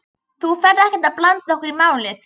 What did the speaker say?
Þú ferð ekkert að blanda okkur í málið?